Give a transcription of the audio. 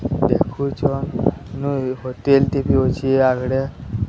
ଦେଖୁଛନ ନୁଇଁ ହୋଟେଲଟେ ବି ଅଛି ଆଗେଡେ।